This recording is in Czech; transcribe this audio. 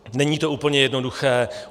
Není to úplně jednoduché.